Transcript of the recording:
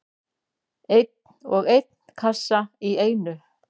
Einn og einn kassa í einu.